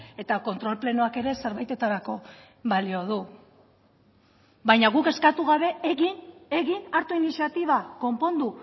eta kontrol plenoak ere zerbaitetarako balio du baina guk eskatu gabe egin egin hartu iniziatiba konpondu